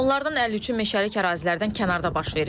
Onlardan 53-ü meşəlik ərazilərdən kənarda baş verib.